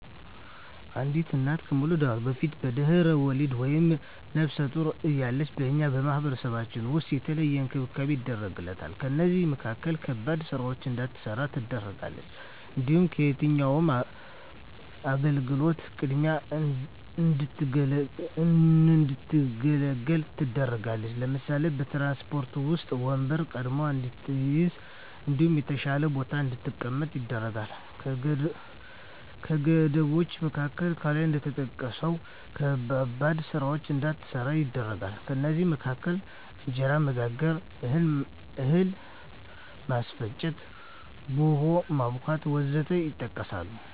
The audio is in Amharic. አንዲት እና ከመዉለዷ በፊት(በድሕረ ወሊድ)ወይም ነብሰ ጡር እያለች በእኛ ማህበረሰብ ዉስጥ የተለየ እንክብካቤ ይደረግላታል ከእነዚህም መካከል ከባድ ስራወችን እንዳትሰራ ትደረጋለች። እንዲሁም ከየትኛዉም አገልግሎት ቅድሚያ እንድትገለገል ትደረጋለች ለምሳሌ፦ በትራንስፖርት ዉስጥ ወንበር ቀድማ እንድትይዝ እንዲሁም የተሻለ ቦታ ላይ እንድትቀመጥ ይደረጋል። ከገደቦች መካከል ከላይ እንደተጠቀሰዉ ከባባድ ስራወችን እንዳትሰራ ይደረጋል ከእነዚህም መካከል እንጀራ መጋገር፣ እህል ማስፈጨት፣ ቡሆ ማቡካት ወዘተ ይጠቀሳል